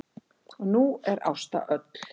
Og nú er Ásta öll.